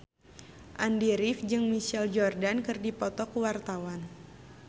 Andy rif jeung Michael Jordan keur dipoto ku wartawan